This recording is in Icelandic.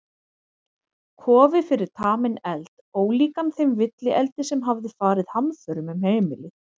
Kofi fyrir taminn eld, ólíkan þeim villieldi sem hafði farið hamförum um heimilið.